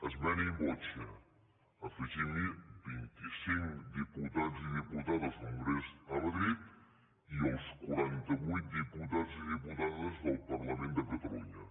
esmena in voce afegim hi vint i cinc diputats i diputades al congrés a madrid i els quaranta vuit diputats i diputades del parlament de catalunya